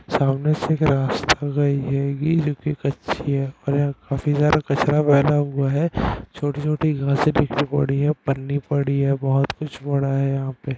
सामने से एक रास्ता गई हेगी जो की कच्ची है और यहाँ काफी सारा कचरा भरा हुआ है छोटी-छोटी घासे बिखरी पड़ी हैं पन्नी पड़ी है बहोत कुछ पड़ा है यहाँ पे।